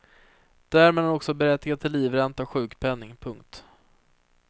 Därmed är han också berättigad till livränta och sjukpenning. punkt